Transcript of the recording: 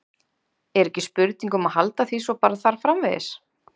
Er ekki spurning um að halda því svo bara þar framvegis?